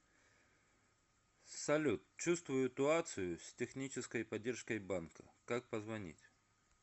салют чувствую туацию с технической поддержкой банка как позвонить